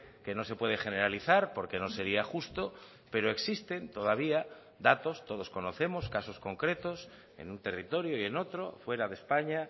que no se puede generalizar porque no sería justo pero existen todavía datos todos conocemos casos concretos en un territorio y en otro fuera de españa